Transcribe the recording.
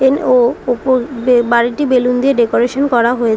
N ও ওপর বে বাড়িটি বেলুন দিয়ে ডেকোরেশন করা হয়ে--